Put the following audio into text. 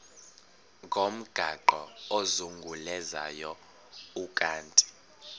ngomgaqo ozungulezayo ukanti